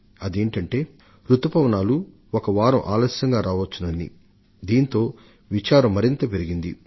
ఇంతలోనే రుతుపవనాలు బహుశా ఒక వారం రోజులు ఆలస్యం రావచ్చని వచ్చిన కబురు కలతను పెంచివేసింది